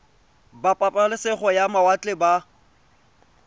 ba pabalesego ya mawatle ba